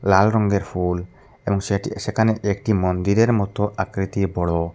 লাল রঙ্গের ফুল এবং সেটি সেখানে একটি মন্দিরের মত আকৃতির বড়ো।